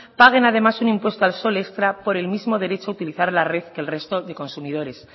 paguen además un impuesto al sol extra por el mismo derecho a utilizar la red que el resto de consumidores